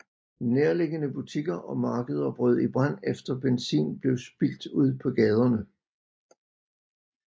Nærliggende butikker og markeder brød i brand efter benzin blev spildt ud på gaderne